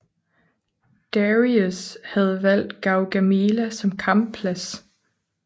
Dareius havde valgt Gaugamela som kampplads